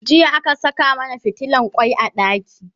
jiya aka Saka mana fitilan kwai a ɗaki